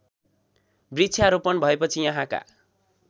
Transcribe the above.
वृक्षारोपण भएपछि यहाँका